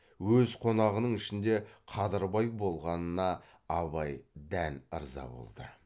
өз қонағының ішінде қадырбай болғанына абай дән ырза болды